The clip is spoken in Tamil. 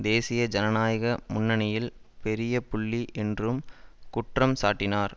தேசீய ஜனநாயக முன்னணியில் பெரிய புள்ளி என்றும் குற்றம் சாட்டினார்